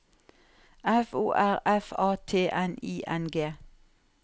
F O R F A T N I N G